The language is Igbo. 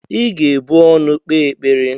Ị ga-ebu ọnụ kpee ekpere!